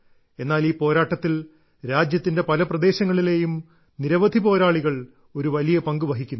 എന്നാൽ ഈ പോരാട്ടത്തിൽ രാജ്യത്തിന്റെ പല പ്രദേശങ്ങളിലെയും നിരവധി പോരാളികൾ ഒരു വലിയ പങ്ക് വഹിക്കുന്നു